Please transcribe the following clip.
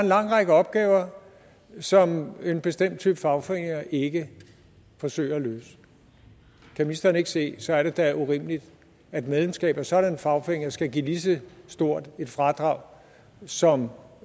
lang række opgaver som en bestemt type fagforeninger ikke forsøger at løse kan ministeren ikke se at så er det da urimeligt at medlemskab af sådanne fagforeninger skal give lige så stort et fradrag som